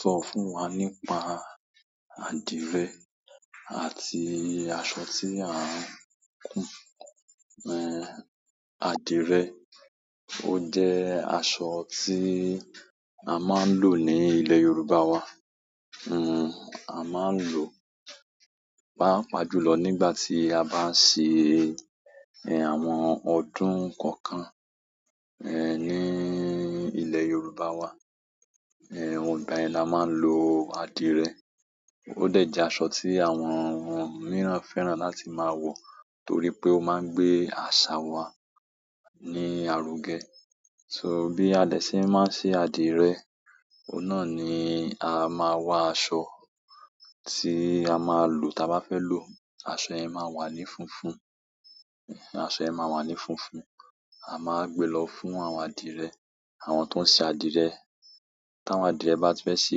Sọ fún wa nípa adìrẹ àti aṣọ tí à ń kun mo adìrẹ o je aṣọ ti n a maa n lo ni ile yorùbá wa a maa n lo paapaa ju lo nigbati a ba se àwọn ọdún kankan ni ile yorùbá wa ìgbà yen la máa ń lo adìrẹ. Ó dẹ̀ jẹ́ aṣọ tí àwọn mìíràn fẹ́ràn láti máa wọ torí pé ó máa ń gbé àṣà wa ní àrò gẹ. So bí a lè ṣe máa ṣe adìẹ, o náà ni a máa wa aṣọ tí a máa lò tí a bá fẹ́ lò. Aṣọ ẹ máa wà ní funfun, aṣọ ẹ máa wà ní funfun. A máa wa gbẹ̀ lọ fún àwọn adìrẹ, àwọn tó ń ṣe adìrẹ. Ti àwọn adire ba ti fe se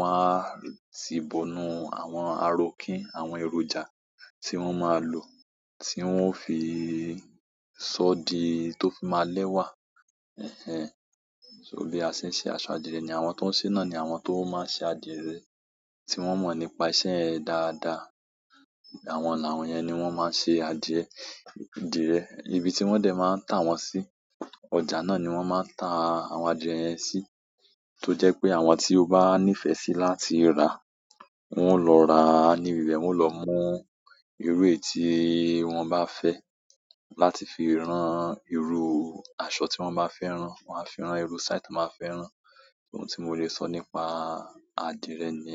waa n ti bo nu àwọn arokin àwọn èròjà ti won maa n lo ti won fi sodi to fi ma lewa. Ẹ̀hẹn. So bí a ṣe ń ṣe aṣọ adìrẹ ni àwọn tó ń ṣe náà ni àwọn tó máa ń ṣe adìrẹ tí wọ́n mọ̀ nípa iṣẹ́ yen dáadáa. Àwọn làwọ́n yẹn ni wọ́n máa ń sẹ adìrẹ, dire. Nibi tí wọ́n dẹ̀ máa ń tà wọ́n sí, ọjà náà ni wọ́n máa ń tà àwọn adìrẹ yẹn sí. Tó jẹ́ pé àwọn tí o bá níìfẹ̀ sí láti rà, wọn lọ rà. Ání bìbẹ̀ wọ́n ó lọ mú irú èéti wọ́n bá fẹ́ láti fi rán irú aṣọ tí wọ́n bá fẹ́ rán. Wọ́n á fi rán irú style tí wọ́n bá fẹ́ rán. Ohun tí mo lè sọ nípa adìẹ ni.